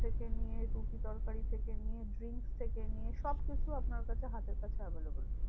থেকে নিয়ে রুটি তরকারি থেকে নিয়ে drinks থেকে নিয়ে সবকিছু আপনার কাছে হাতের কাছে available.